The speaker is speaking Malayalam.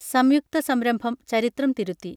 സംയുക്ത സംരംഭം ചരിത്രം തിരുത്തി